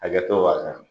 Hakɛto wasa